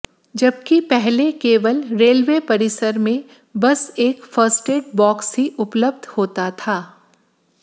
जबकि पहले केवल रेलवे परिसर में बस एक फर्स्ट एड बॉक्स ही उपलब्ध होता था